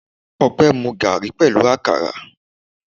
Opé mu garri pẹ̀lú àkàrà.